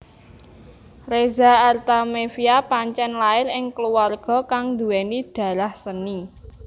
Reza Artamevia pancén lair ing kluwarga kang nduwéni darah seni